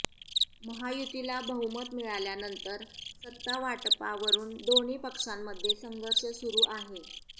महायुतीला बहुमत मिळाल्यानंतर सत्ता वाटपावरून दोन्ही पक्षांमध्ये संघर्ष सुरू आहे